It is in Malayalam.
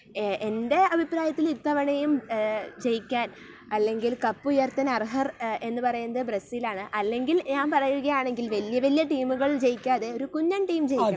എന്റെ അഭിപ്രായത്തിൽ ഇത്തവണയും ജയിക്കാൻ അല്ലെങ്കിൽ കപ്പുയർത്താൻ അർഹർ എന്ന് പറയുന്നത് ബ്രസീൽ തന്നെയാണ്. അല്ലെങ്കിൽ ഞാൻ പറയുകയാണെങ്കിൽ വല്യ വല്യ ടീമുകൾ ജയിക്കാതെ ഒരു കുഞ്ഞൻ ടീം ജയിക്കണം.